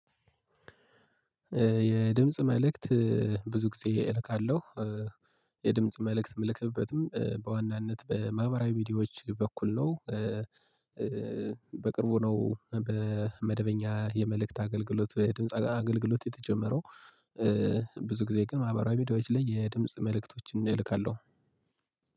የድምጽ መልእክት ብዙ ጊዜ እልካለሁ የድምጽ መልእክት ምልክበትም በዋናነት በማህበራዊ ሚዲያዎች በኩል ነው። በቅርቡ ነው በመደበኛ የመልእክት አገልግሎት የድምጽ አገልግሎት የተጀመረው። ብዙ ጊዜ ግን ማህበራዊ ሜዲያዎች ላይ የድምጽ መልእክቶችን እልካለሁ።